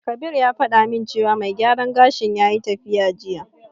Kabir ya faɗa min cewa mai gyaran gashin yayi tafiya jiya.